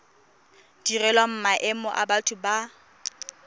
direlwang maemo a batho ba